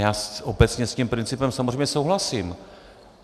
Já obecně s tím principem samozřejmě souhlasím.